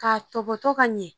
Ka tɔbɔtɔ ka ɲɛ.